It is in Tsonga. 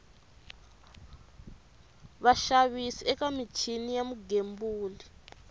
vaxavis eka michini ya vugembuli